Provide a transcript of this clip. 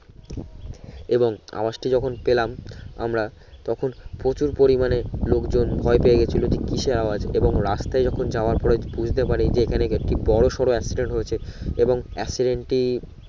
এবং আওয়াজটি যখন পেলাম আমরা তখন প্রচুর পরিমানে লোকজন ভয় পেয়ে গেছিলো যে কিসের আওয়াজ এবং রাস্তায় যখন যাওয়ার পরে বুঝতে পারি যে এখানে কে বড় সরো accident হয়েছে এবং accident টি